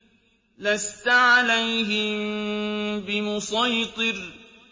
لَّسْتَ عَلَيْهِم بِمُصَيْطِرٍ